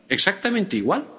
Exactamente igual.